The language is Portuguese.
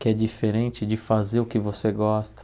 que é diferente de fazer o que você gosta.